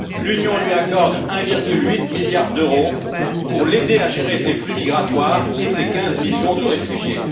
L'Union lui accorde 1,8 milliard d'euros pour l'aider à gérer ses flux migratoires et ses 15 millions de réfugiés.